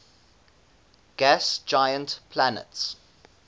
gas giant planets